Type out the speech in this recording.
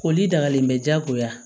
Ko li dagalen bɛ diyagoya